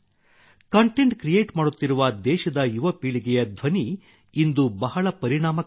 content create ಮಾಡುತ್ತಿರುವ ದೇಶದ ಯುವಪೀಳಿಗೆಯ ಧ್ವನಿ ಇಂದು ಬಹಳ ಪರಿಣಾಮಕಾರಿಯಾಗಿದೆ